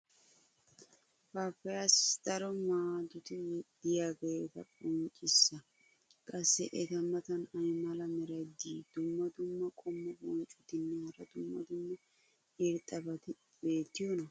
paappayiyaassi daro maadoti diyaageeta qonccissa. qassi eta matan ay mala meray diyo dumma dumma qommo bonccotinne hara dumma dumma irxxabati beetiyoonaa?